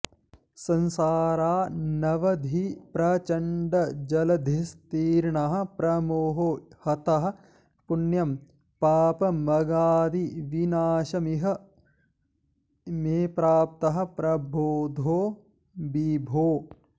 संसारानवधिप्रचण्डजलधिस्तीर्णः प्रमोहो हतः पुण्यं पापमगाद्विनाशमिह मे प्राप्तः प्रबोधो विभो